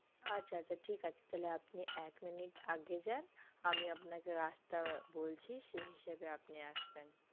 আচ্ছা আচ্ছা ঠিক আছে আপনি এক মিনিট আগে যান আমি আপনাকে রাস্তা বলছি সেই হিসাবে আপনি আসবেন